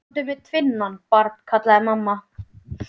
Komdu með tvinnann, barn, kallaði mamma.